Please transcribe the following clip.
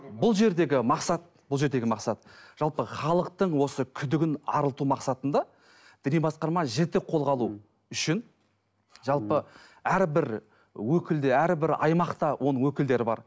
бұл жердегі мақсат бұл жердегі мақсат жалпы халықтың осы күдігін арылту мақсатында діни басқарма жіті қолға алу үшін жалпы әрбір өкілі әрбір аймақта оның өкілдері бар